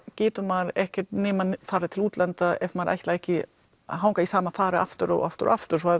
getur maður ekki nema farið til útlanda ef maður ætlar ekki að hanga í sama fari aftur og aftur og aftur